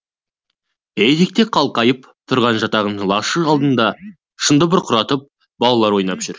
етекте қалқайып тұрған жатаған лашық алдында шаңды бұрқыратып балалар ойнап жүр